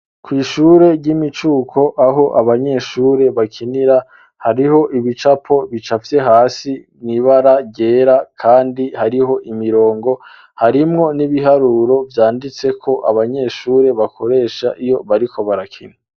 Kw'ishure ry'imicuko aho abanyeshure bakinira hariho ibicapo bicafye hasi mwibara ryera kandi hariho imirongo harimwo n'ibiharuro vyanditseko abanyeshure bakoresha iyo bariko barakina